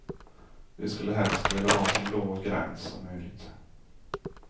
Vi skulle helst vilja ha så låg gräns som möjligt.